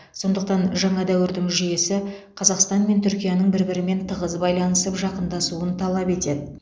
сондықтан жаңа дәуірдің жүйесі қазақстан мен түркияның бір бірімен тығыз байланысып жақындасуын талап етеді